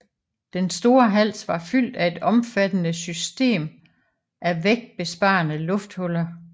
Den store hals var fyldt af et omfattende system af vægtbesparende lufthuller